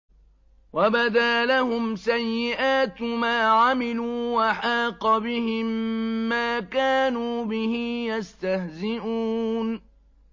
وَبَدَا لَهُمْ سَيِّئَاتُ مَا عَمِلُوا وَحَاقَ بِهِم مَّا كَانُوا بِهِ يَسْتَهْزِئُونَ